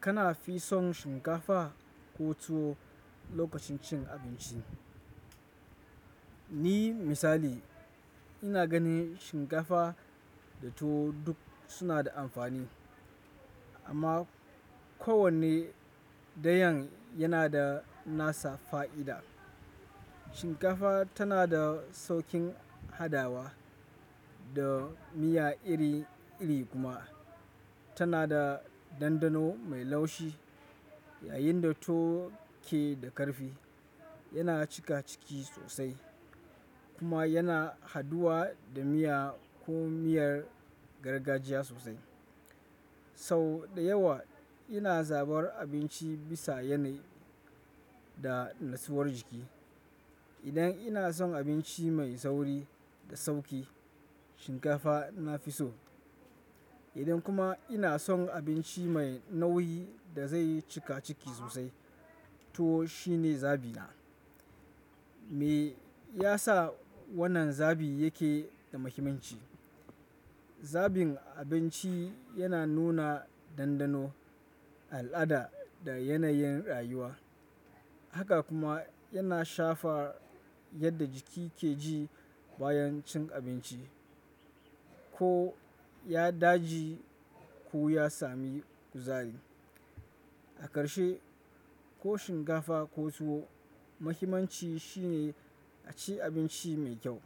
Kana fi son shinkafa ko tuwo lokacin cin abinci? Ni misali ina ganin shinkafa da tuwo duk suna da amfani amma kowanne da yan yana da nasa fa'ida. Shinkafa tana da saukin hadawa da miya iri iri kuma tana da dandano mai laushi yayin da tuwo ke da karfi, yana cika ciki sosai kuma yana haduwa da miya ko miyar gargajiya sosai. Sau da yawa ina zabar abinci bisa yanayi da nutsuwar jiki. Idan ina son abinci mai sauri da sauki, shinkafa na fi so. Idan kuma ina son abinci mai nauyi da zai cika ciki sosai, tuwo shine zabi na. Me yasa wannan zabi yake da muhimmanci? Zabin abinci yana nuna dandano, al'ada da yanayin rayuwa. Haka kuma yana shafar yadda jiki ke ji bayan cin abinci. Ko ya daji ko ya sami kuzari. A karshe, ko shinkafa ko tuwo, muhimmanci shine a ci abinci mai kyau,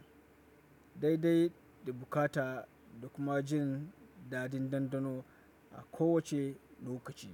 daidai da bukata da kuma jin dadin dandano a kowace lokaci.